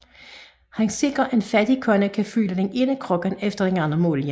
Han sikrer at en fattig kone kan fylde den ene krukke efter den anden med olie